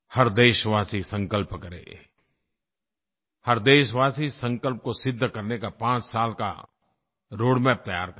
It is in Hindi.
हर देशवासी संकल्प करे हर देशवासी संकल्प को सिद्ध करने का 5 साल का रोडमैप तैयार करे